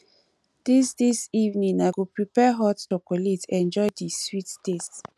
dis dis evening i go prepare hot chocolate enjoy di sweet taste